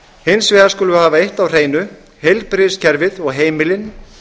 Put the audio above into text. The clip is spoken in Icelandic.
hins vegar skulum við hafa eitt á hreinu heilbrigðiskerfið og heimilin